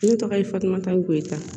Ne tɔgɔ ye fatumata goyita